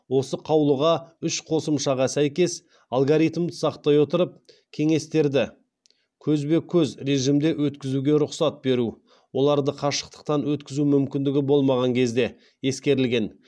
осы қаулыға үш қосымшаға сәйкес алгоритмді сақтай отырып кеңестерді көзбе көз режимде өткізуге рұқсат беру ескерілген